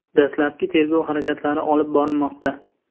Dastlabki tergov harakatlari olib borilmoqda.